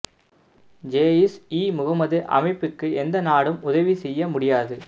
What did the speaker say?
ஜெயிஷ் இ முகமது அமைப்புக்கு எந்த நாடும் உதவி செய்ய முடியாது